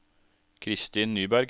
Kristin Nyberg